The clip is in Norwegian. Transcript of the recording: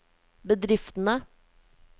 bedriftene